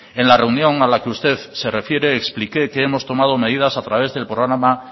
en la reunión a la que usted se refiere expliqué que hemos tomado medidas a través del programa